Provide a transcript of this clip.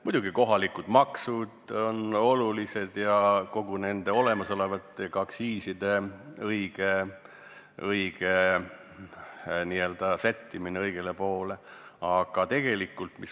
Muidugi ka kohalikud maksud on olulised ja samuti olemasolevate aktsiiside sättimine õigele tasemele.